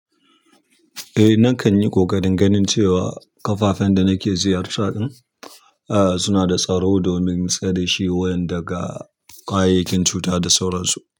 Eh, nakan yi ƙoƙarin ganin cewa kafafen da nake ziyarta ɗin suna da tsaro domin tsare shi wayan daga ƙwayayakin cuta da sauransu.